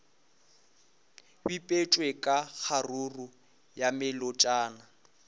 bipetšwe ka kgaruru ya melotšana